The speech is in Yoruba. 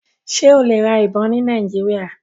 Ṣe o le ra ibon ni Nigeria?